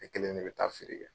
Ne kelen de bɛ taa feere kɛ.